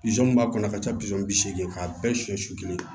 Bizɔn mun b'a kɔnɔ ka taa bisɔn bi seegin k'a bɛɛ suɲɛ su kelen